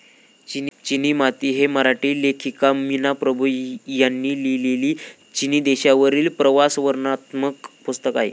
चिनी माती हे मराठी लेखिका मीना प्रभू यांनी लिहलेली चीन देशावरील प्रवासवर्णनात्मक पुस्तक आहे.